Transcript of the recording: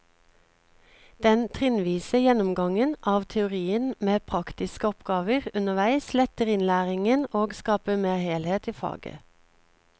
Den trinnvise gjennomgangen av teorien med praktiske oppgaver underveis letter innlæringen og skaper mer helhet i faget.